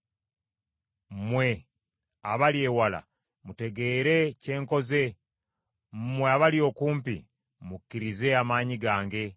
Mmwe abali ewala, mutegeere kye nkoze. Mmwe abali okumpi, mukkirize amaanyi gange.